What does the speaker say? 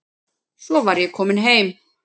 Svo var ég komin heim.